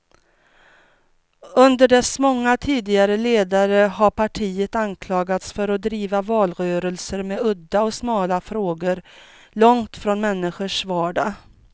Under dess många tidigare ledare har partiet anklagats för att driva valrörelser med udda och smala frågor, långt från människors vardag.